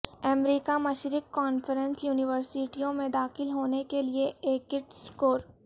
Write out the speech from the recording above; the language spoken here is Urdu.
امریکہ مشرق کانفرنس یونیورسٹیوں میں داخل ہونے کے لئے ایکٹ سکور